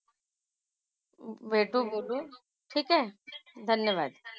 भेटू. बोलू. ठीक आहे? धन्यवाद.